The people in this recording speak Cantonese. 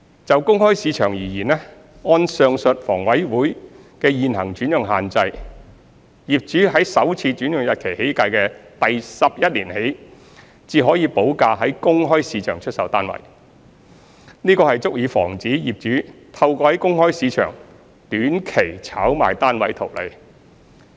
就公開市場而言，按上述房委會的現行轉讓限制，業主在首次轉讓日期起計的第十一年起，才可補價在公開市場出售單位，這足以防止業主透過在公開市場短期炒賣單位圖利。